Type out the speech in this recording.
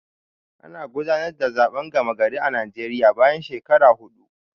Ana gudanar da zaɓen gama gari a Naijeriya bayan shekara huɗu